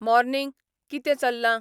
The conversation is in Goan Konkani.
मॉर्नींग, कितें चल्लां